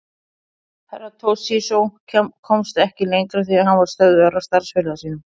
Herra Toshizo komst ekki lengra því hann var stöðvaður af starfsfélaga sínum.